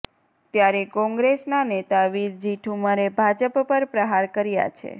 ત્યારે કોંગ્રેસના નેતા વિરજી ઠુમ્મરે ભાજપ પર પ્રહાર કર્યા છે